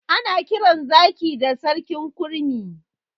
Ana kiran zaki da sarkin kurmi.